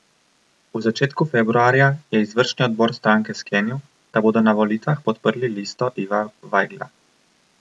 V začetku februarja je izvršni odbor stranke sklenil, da bodo na volitvah podprli listo Iva Vajgla.